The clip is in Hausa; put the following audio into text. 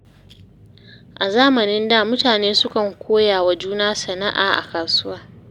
A zamanin da, mutane sukan koya wa juna sana’a a kasuwa.